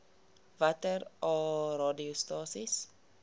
watter aa radiostasies